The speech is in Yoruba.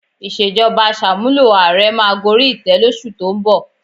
Ìṣèjọba Àṣàmúlò ààrẹ máa gorí ìtẹ́ lóṣù tó ń bọ̀